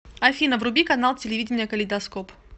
афина вруби канал телевидения калейдоскоп